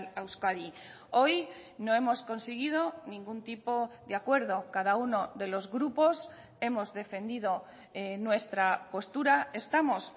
a euskadi hoy no hemos conseguido ningún tipo de acuerdo cada uno de los grupos hemos defendido nuestra postura estamos